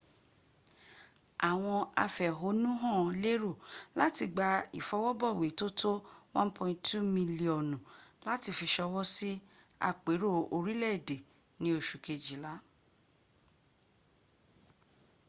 àwọn afẹ̀hohnúhàn lérò láti gba ìfọwọ́bọ̀wé tó tó 1.2 miliọnu láti fi ṣọwọ́ sí àpérò orílẹ̀èdè ni oṣu kejìl